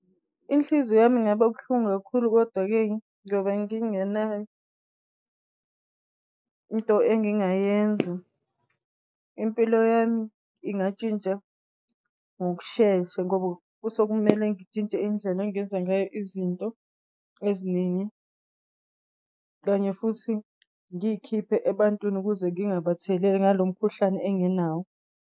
Inhliziyo yami ingaba buhlungu kakhulu, kodwa-ke ngobe ngingenayo into engingayenza. Impilo yami ingatshintsha ngokushesha, ngoba kuse kumele ngitshintshe indlela engingenza ngayo izinto eziningi. Kanye futhi ngiy'khiphe ebantwini ukuze ngingabatheleli ngalo mkhuhlane enginawo.